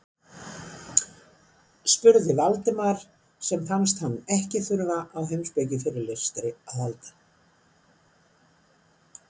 spurði Valdimar sem fannst hann ekki þurfa á heimspekifyrirlestri að halda.